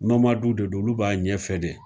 nomadu de don olu b'a ɲɛfɛ de